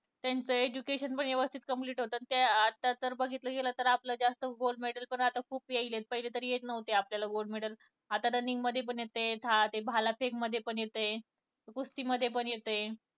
त्यांचा education पण व्यवस्थित complete होतं आता तर बघितलं गेलं आपलं तर जास्त gold medal पण आता खूप येतंय. पहिले तर येत नव्हते आपल्याला gold medal आता running मध्ये पण येते, भाला फेक मध्ये पण येतंय, कुस्तीमध्ये पण येतंय